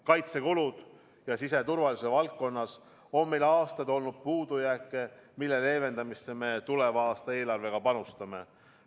Kaitsekulude ja siseturvalisuse valdkonnas on meil aastaid olnud puudujääke, mille leevendamisse me tuleva aasta eelarvega panustame.